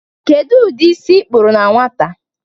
Kedu ụdị isi ịkpụrụ na nwata?